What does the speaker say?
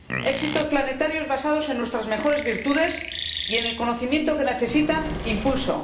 Éxitos planetarios basados en nuestras mejores virtudes y en el conocimiento que necesitan impulso.